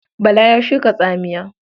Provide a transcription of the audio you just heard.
Bala ya shuka tsamiya.